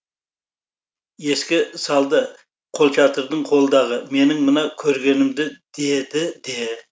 еске салды қолшатырың қолдағы менің мына көргенімді деді де